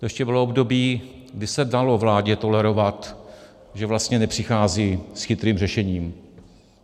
To ještě bylo období, kdy se dalo vládě tolerovat, že vlastně nepřichází s chytrým řešením.